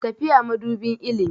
Tafiya madubin ilimi.